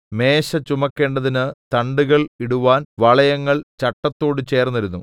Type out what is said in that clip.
മേശ ചുമക്കേണ്ടതിന് തണ്ടുകൾ ഇടുവാൻ വളയങ്ങൾ ചട്ടത്തോട് ചേർന്നിരുന്നു